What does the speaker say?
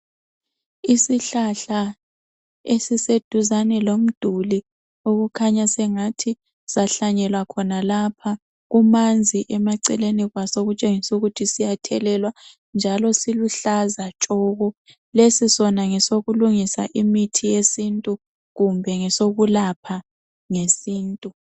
Isihlahla esiseduzane lomduli okukhanya sengathi sahlanyela khonalapha. Kumanzi emaceleni kwaso okutshengisa ukuthi siyathelelwa njalo siluhlaza tshoko, lesi sona ngesokulungisa imithi yesintu kumbe ngesokulapha ngesintu.